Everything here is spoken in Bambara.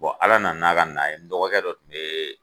Bɔn ala nana n'a ka na ye n dɔgɔkɛ dɔ kun yee